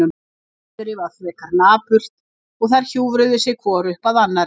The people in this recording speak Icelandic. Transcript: Veðrið var fremur napurt og þær hjúfruðu sig hvor upp að annarri.